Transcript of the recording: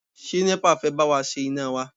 Ṣé NEPA fẹ́ bá wa ṣe iná wa?